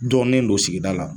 Dɔnnen don sigida la.